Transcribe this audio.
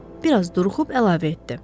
Bir az duruxub əlavə etdi.